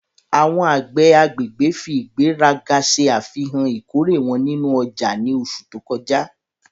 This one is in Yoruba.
Awọn agbẹ agbegbe fi igberaga ṣe afihan ikore wọn ninu ọja ni oṣu to kọja